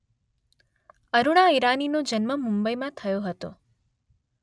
અરુણા ઈરાનીનો જન્મ મુંબઈમાં થયો હતો